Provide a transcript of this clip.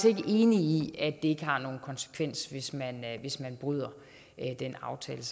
ikke enig i at det ikke har nogen konsekvens hvis man hvis man bryder den aftale